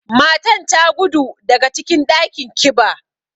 Matan ta gudu daga cikin ɗakin kiba.